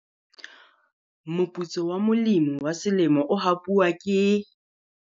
Moputso wa molemi wa selemo o hapuwa ke.